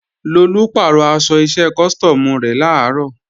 Lolú pàrọ̀ aṣọ iṣẹ́ custom rẹ̀ làárọ̀